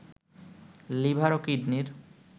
liver ও কিডনির